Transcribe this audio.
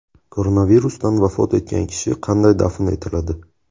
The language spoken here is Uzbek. Koronavirusdan vafot etgan kishi qanday dafn etiladi?